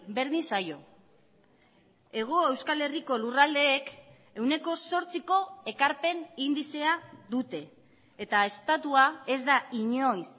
berdin zaio hego euskal herriko lurraldek ehuneko zortziko ekarpen indizea dute eta estatua ez da inoiz